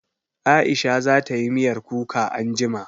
Aisha za tayi miyar kuka anjima